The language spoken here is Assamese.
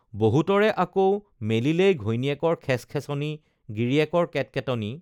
বহুতৰে আকৌ মেলিলেই ঘৈণীয়েকৰ খেচখেচনি গিৰিয়েকৰ কেটকেটনি